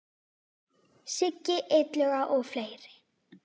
Siggi Illuga og fleiri.